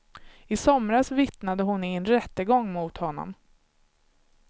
I somras vittnade hon i en rättegång mot honom.